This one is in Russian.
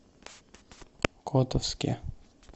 котовске